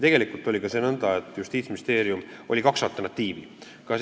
Tegelikult oli kaks alternatiivi.